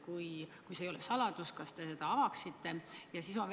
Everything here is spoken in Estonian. Kui see ei ole saladus, siis kas te avaksite seda?